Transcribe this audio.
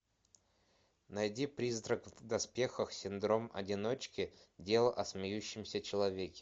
найди призрак в доспехах синдром одиночки дело о смеющемся человеке